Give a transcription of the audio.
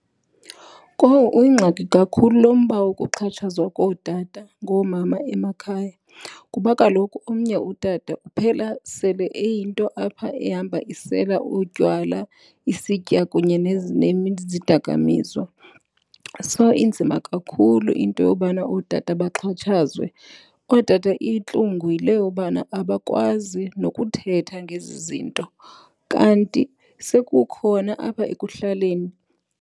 Kowu uyingxaki kakhulu lo mba wokuxhatshazwa kootata ngoomama emakhaya kuba kaloku omnye utata uphela sele eyinto apha ehamba isela utywala, isitya kunye nezidakamiswa. So, inzima kakhulu into yobana ootata baxhatshazwe. Ootata intlungu yile yobana abakwazi nokuthetha ngezi zinto kanti sekukhona apha ekuhlaleni.